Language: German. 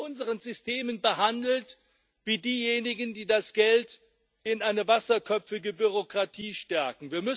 Sie werden in unseren Systemen behandelt wie diejenigen, die das Geld in eine wasserköpfige Bürokratie stecken.